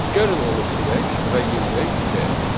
Gəlin onu silək və yenidən yükləyək.